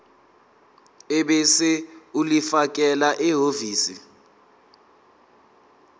ebese ulifakela ehhovisi